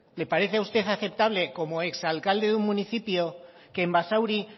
le parece a usted aceptable como exalcalde de un municipio que en basauri